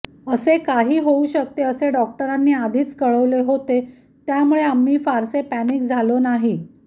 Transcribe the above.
असे काही होऊ शकते असे डॉक्टरांनी आधीच कळवले होते त्यामुळे आम्ही फारसे पॅनिक झालो नाही